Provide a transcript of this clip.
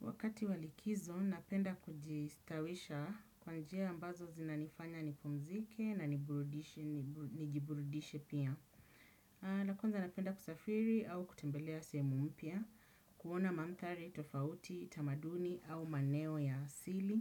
Wakati walikizo, napenda kujistawisha kwanjia ambazo zinanifanya nipumzike na nijiburudishe pia. Nakwanza napenda kusafiri au kutembelea sehemu mpya, kuona mandhari, tofauti, tamaduni au maeneo ya asili.